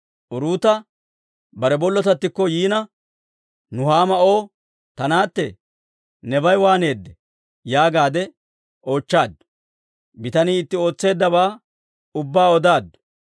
Uruuta bare bollotattikko yiina, Nuhaama O, «Ta naatte, nebay waaneedee?» yaagaade oochchaaddu. Bitanii iziw ootseeddabaa ubbaa odaaddu;